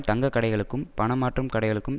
தங்க கடைகளுக்கும் பணம் மாற்றும் கடைகளுக்கும்